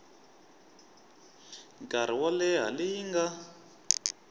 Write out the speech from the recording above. nkarhi wo leha leyi nga